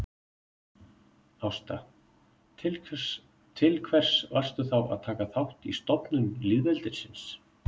Ásta: Til hvers varstu þá að taka þátt í stofnun lýðveldisins